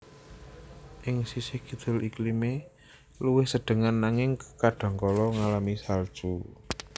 Ing sisih kidul iklimé luwih sedhengan nanging kadhangkala ngalami salju